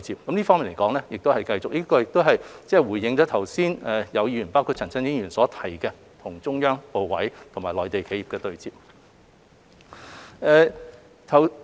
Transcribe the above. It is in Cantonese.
我們會繼續這方面的工作，亦回應了剛才有議員，包括陳振英議員所提及要求與中央部委和內地企業對接方面。